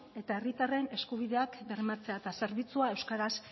eta herritarren eskubideak bermatzea eta zerbitzua euskaraz